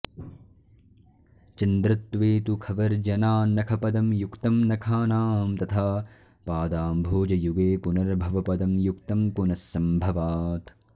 चन्द्रत्वे तु खवर्जनान्नखपदं युक्तं नखानां तथा पादाम्भोजयुगे पुनर्भवपदं युक्तं पुनस्सम्भवात्